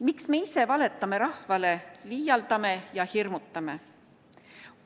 Miks me ise valetame rahvale, liialdame ja hirmutame?